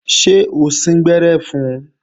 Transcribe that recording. Ṣé o síngbẹ́rẹ́ fun?